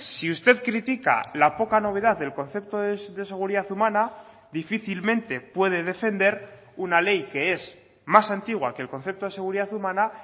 si usted critica la poca novedad del concepto de seguridad humana difícilmente puede defender una ley que es más antigua que el concepto de seguridad humana